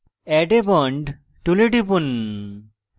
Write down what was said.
add a bond tool টিপুন